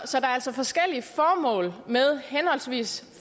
forskellige formål med henholdsvis